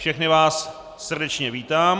Všechny vás srdečně vítám.